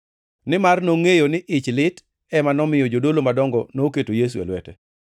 Nimar nongʼeyo ni ich lit ema nomiyo jodolo madongo noketo Yesu e lwete.